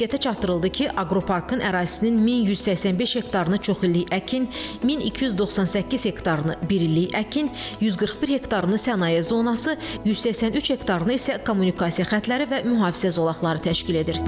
Diqqətə çatdırıldı ki, aqroparkın ərazisinin 1185 hektarını çoxillik əkin, 1298 hektarını birillik əkin, 141 hektarını sənaye zonası, 183 hektarını isə kommunikasiya xəttləri və mühafizə zolaqları təşkil edir.